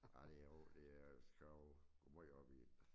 Ej det jo det jo skal jo gå måj op i det